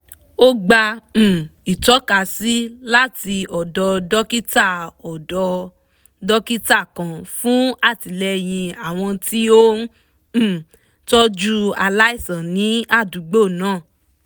ó gba um ìtọ̀kasí láti ọ̀dọ̀ dókítà ọ̀dọ̀ dókítà kan fún àtìlẹyìn àwọn tí ó ń um tọ́jú aláìsàn ní àdúgbò náà